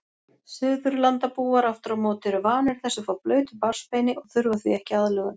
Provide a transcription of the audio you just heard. Suðurlandabúar afturámóti eru vanir þessu frá blautu barnsbeini og þurfa því ekki aðlögun.